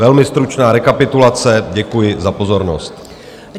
Velmi stručná rekapitulace, děkuji za pozornost.